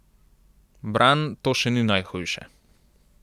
Bran, to še ni najhujše.